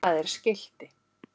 Það er skilti.